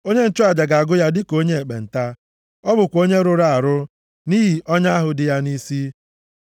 Onye nchụaja ga-agụ ya dịka onye ekpenta. Ọ bụkwa onye rụrụ arụ, nʼihi ọnya ahụ dị ya nʼisi.